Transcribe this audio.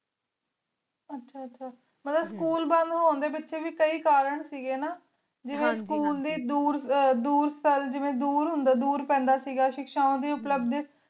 ਆਹ ਆਹ ਮਤਲਬ ਸਕੂਲ ਵਾਲ ਨੂੰ ਊਂਡੀ ਵੇ ਕਹੀ ਕਰਨ ਸੇ ਗੀ ਜਾਵੀ ਸਕੂਲ ਦੇ ਡੋਰ ਡੋਰ ਜੇਵ੍ਯਨ ਡੋਰ ਪੈਂਦਾ ਸੇ ਗਾ ਸ਼ਿਖ ਸ਼ਾਵੇਂ ਡੀ